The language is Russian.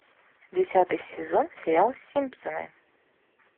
десятый сезон сериала симпсоны